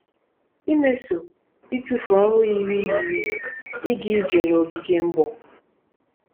Imeso ịtụfu ọrụ yiri yiri ịga ije n’ogige mgbọ.